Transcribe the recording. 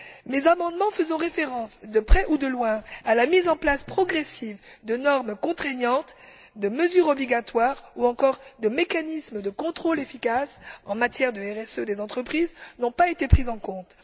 Mes amendements faisant référence, de près ou de loin, à la mise en place progressive de normes contraignantes, de mesures obligatoires ou encore de mécanismes de contrôle efficaces en matière de RSE n'ont pas été pris en compte.